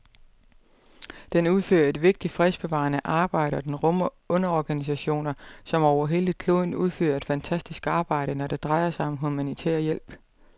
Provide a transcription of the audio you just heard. Den udfører et vigtigt fredsbevarende arbejde, og den rummer underorganisationer, som over hele kloden udfører et fantastisk arbejde, når det drejer sig om humanitær hjælp.